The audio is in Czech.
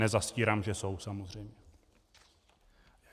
Nezastírám, že jsou, samozřejmě.